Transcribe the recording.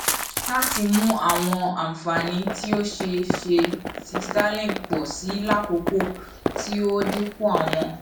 lati mu awọn anfani ti o ṣeeṣe ti starlink pọ si lakoko ti o dinku awọn